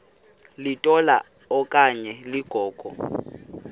litola okanye ligogo